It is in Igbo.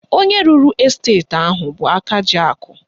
Onye rụrụ esteti ahụ bụ aka ji akụ